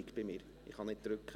Ich kann nicht drücken.